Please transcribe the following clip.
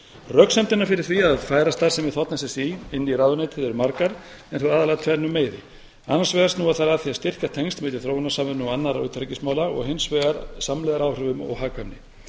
röksemdirnar fyrir því að færa starfsemi þ s s í inn í ráðuneytið eru margar en þó aðallega af tvennum meiði annars vegar snúa þær að því að styrkja tengsl milli þróunarsamvinnu og annarra utanríkismála og hins vegar að samlegðaráhrifum og hagkvæmni